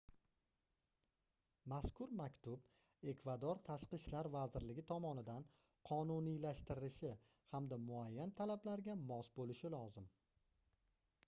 mazkur maktub ekvador tashqi ishlar vazirligi tomonidan qonuniylashtirilishi hamda muayyan talablarga mos boʻlishi lozim